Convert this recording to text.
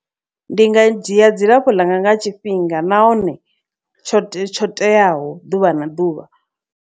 Ndi nga dzhia dzilafho ḽanga nga tshifhinga nahone tsho tsho teaho ḓuvha na ḓuvha.